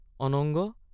অনঙ্গ!